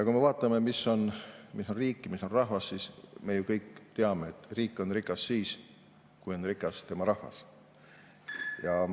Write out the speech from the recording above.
Kui me vaatame, mis on riik, mis on rahvas, siis me ju kõik teame, et riik on rikas siis, kui on rikas tema rahvas.